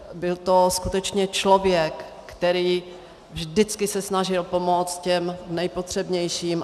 Byl to skutečně člověk, který se vždycky snažil pomoct těm nejpotřebnějším.